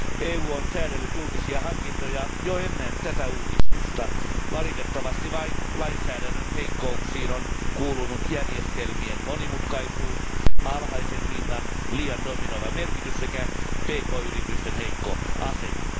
EU on säädellyt julkisia hankintoja jo ennen tätä uudistusta, valitettavasti vain lainsäädännön heikkouksiin on kuulunut järjestelmien monimutkaisuus, alhaisen hinnan liian dominoiva merkitys sekä pk yritysten heikko asema.